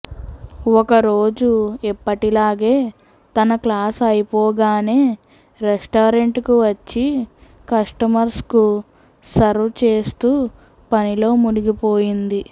ఒక రోజు ఎప్పటిలాగే తన క్లాస్ అయిపోగానే రెస్టారెంట్ కు వచ్చి కస్టమర్స్ కు సర్వ్ చేస్తూ పనిలో మునిగిపోయింది